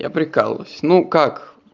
я прикалываюсь ну как